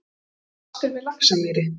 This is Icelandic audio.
Sitja fastir við Laxamýri